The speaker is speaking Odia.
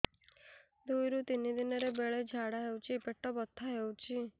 ଦୁଇରୁ ତିନି ଦିନରେ ବେଳେ ଝାଡ଼ା ହେଉଛି ପେଟ ବଥା ହେଉଛି